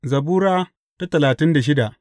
Zabura Sura talatin da shida